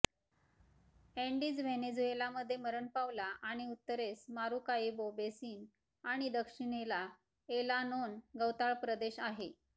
Andes व्हेनेझुएलामध्ये मरण पावला आणि उत्तरेस मारुकाइबो बेसिन आणि दक्षिणेला एलानोन गवताळ प्रदेश आहे